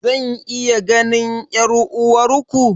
Zan iya ganin 'yar'uwarku?